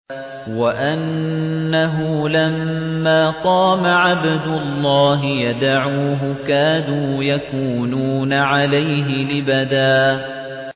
وَأَنَّهُ لَمَّا قَامَ عَبْدُ اللَّهِ يَدْعُوهُ كَادُوا يَكُونُونَ عَلَيْهِ لِبَدًا